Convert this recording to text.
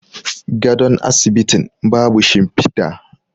gadon asibitin babu shimfida